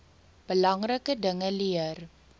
belangrike dinge leer